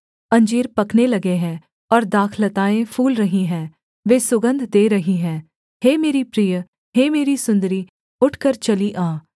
अंजीर पकने लगे हैं और दाखलताएँ फूल रही हैं वे सुगन्ध दे रही हैं हे मेरी प्रिय हे मेरी सुन्दरी उठकर चली आ